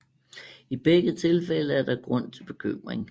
I begge tilfælde er der grund til bekymring